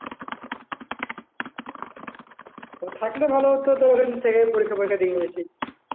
থাকলে ভালো হত তো ওখান থেকে পরীক্ষা ফরিক্ষা